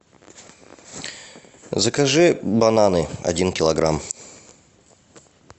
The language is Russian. закажи бананы один килограмм